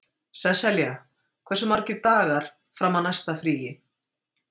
Sesselja, hversu margir dagar fram að næsta fríi?